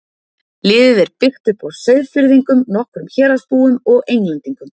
Liðið er byggt upp á Seyðfirðingum, nokkrum Héraðsbúum og Englendingum.